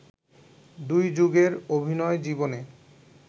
দুই যুগের অভিনয় জীবনে